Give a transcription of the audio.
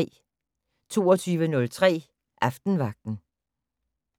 22:03: Aftenvagten